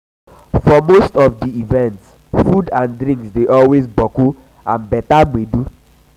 for most of di events food and drinks dey always boku and beter gbedu